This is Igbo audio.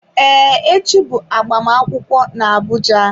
Ee, echi bụ agbamakwụkwọ n'Abuja.